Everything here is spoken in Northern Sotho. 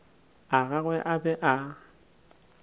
a gagwe a be a